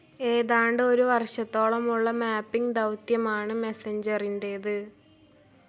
ഏതാണ്ട് ഒരു വർഷത്തോളമുള്ള മാപ്പിംഗ്‌ ദൗത്യമാണ്‌ മെസ്സഞ്ചറിന്റേത്.